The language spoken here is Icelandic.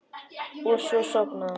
Og svo sofnaði hún.